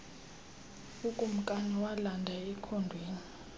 ukumkani walanda ekhondweni